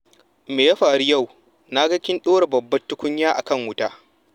Me ya faru yau na ga kin ɗora babbar tukunya akan wuta.